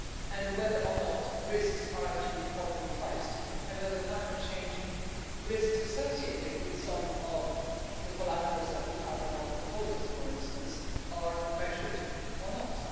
and whether or not risks are actually properly priced and whether the climate change risks associated with some of the collateral that we have in our portfolios, for instance, are measured or not.